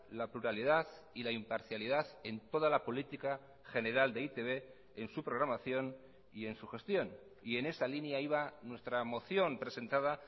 la pluralidad y la imparcialidad en toda la política general de e i te be en su programación y en su gestión y en esa línea iba nuestra moción presentada